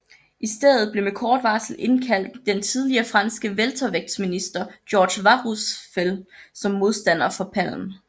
I stedet blev med kort varsel indkaldt den tidligere franske weltervægtsmester Georges Warusfel som modstander for Palm